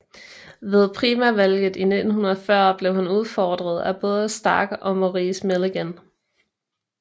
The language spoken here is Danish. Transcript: Ved primærvalget i 1940 blev han udfordret af både Stark og Maurice Milligan